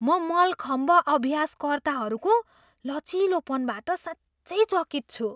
म मलखम्ब अभ्यासकर्ताहरूको लचिलोपनबाट साँच्चै चकित छु!